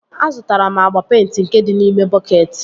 Azụtara m agba peịnti nke dị n'ime bọketị